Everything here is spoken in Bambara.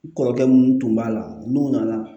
N kɔrɔkɛ mun tun b'a la n'u nana